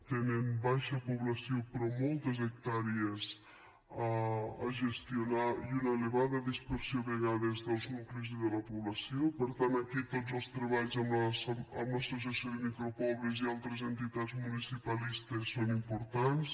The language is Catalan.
tenen baixa població però moltes hectàrees a gestionar i una elevada dispersió a vegades dels nuclis i de la població per tant aquí tots els treballs amb l’associació de micropobles i altres entitats municipalistes són importants